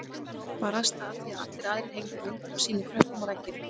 Barasta af því að allir aðrir hengdu myndir af sínum krökkum á veggina.